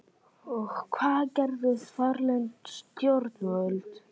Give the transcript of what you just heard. Og hvað gerðu þarlend stjórnvöld?